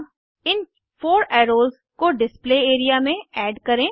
अब इन 4 एर्रोस को डिस्प्ले एरिया में ऐड करें